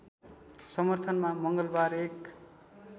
समर्थनमा मङ्गलवार एक